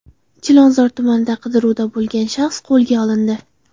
Chilonzor tumanida qidiruvda bo‘lgan shaxs qo‘lga olindi.